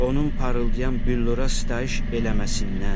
Onun parıldayan büllura sitayiş eləməsindən.